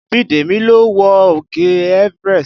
Bidemi lọ wo òkè Everest